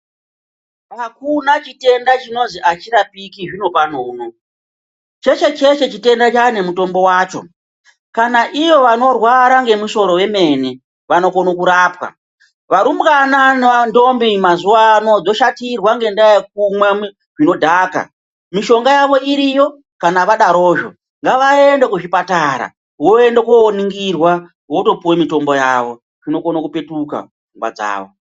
Akuna chitenda chisingazi achirapiki zvinopano unowu. Cheshe cheshe chitenda chane mutombo wacho. Kana ivo vanorwara nemusoro wemene vanokona kurapwa. Varumbwana nentombi mazuwanaya vashatirwa ngendaya yekumwa zvinodhaka, mishonga yavo iriyo kana vadazvo. Ngavaende kuzvipatara voende koningirwa votopuwe mitombo yavo dzinokona kupetuka pfungwa dzavo.